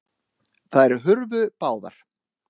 Þær hurfu báðar.